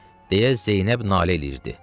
deyə Zeynəb nalə edirdi.